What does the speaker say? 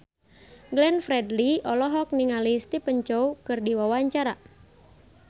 Glenn Fredly olohok ningali Stephen Chow keur diwawancara